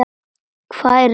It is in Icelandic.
Hvað eruð þið að bralla?